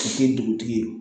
dugutigi ye